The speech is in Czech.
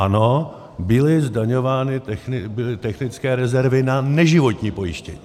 Ano, byly zdaňovány technické rezervy na neživotní pojištění.